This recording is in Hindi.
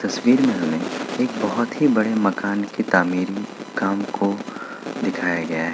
तस्वीर में हमें एक बहुत ही बड़े मकान की तामीर में काम को दिखाया गया है।